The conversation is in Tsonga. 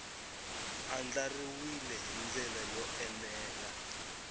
andlariwile hi ndlela yo enela